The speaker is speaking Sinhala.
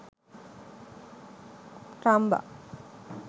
ramba